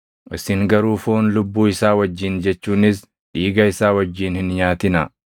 “Isin garuu foon lubbuu isaa wajjin jechuunis dhiiga isaa wajjin hin nyaatinaa.